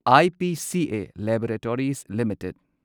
IPCA laboratories limited